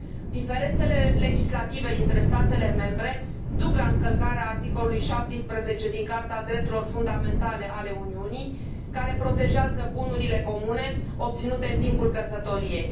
Diferențele legislative dintre statele membre duc la încălcarea articolului 17 din Carta drepturilor fundamentale a Uniunii, care protejează bunurile comune obținute în timpul căsătoriei.